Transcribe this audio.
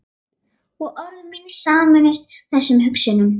Og orð mín sameinast þessum hugsunum.